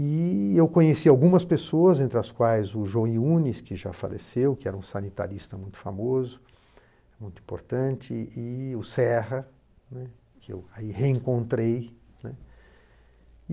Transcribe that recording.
E eu conheci algumas pessoas, entre as quais o João Iunes, que já faleceu, que era um sanitarista muito famoso, muito importante, e o Serra, né, que eu aí reencontrei, né.